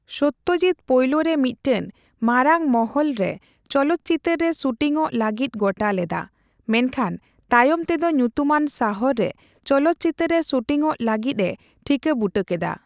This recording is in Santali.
ᱥᱚᱛᱡᱤᱛ ᱯᱳᱭᱞᱳᱨᱮ ᱢᱤᱛᱴᱮᱱ ᱢᱟᱨᱟᱝ ᱢᱚᱦᱚᱞ ᱞᱮ ᱪᱚᱞᱚᱛ ᱪᱤᱛᱟᱹᱨ ᱨᱮ ᱥᱩᱴᱤᱝ ᱚᱜ ᱞᱟᱹᱜᱤᱫ ᱜᱚᱴᱟ ᱞᱮᱫᱟ ᱾ ᱢᱮᱱᱠᱷᱟᱱ ᱛᱟᱭᱚᱢ ᱛᱮ ᱫᱚ ᱧᱩᱛᱩᱢᱟᱱ ᱥᱟᱦᱚᱨ ᱨᱮ ᱪᱚᱞᱚᱫ ᱪᱤᱛᱟᱹᱨ ᱨᱮ ᱥᱩᱴᱤᱝ ᱚᱜ ᱞᱟᱹᱜᱤᱫ ᱮ ᱴᱷᱤᱠᱟᱹ ᱵᱩᱴᱳ ᱠᱮᱫᱟ ᱾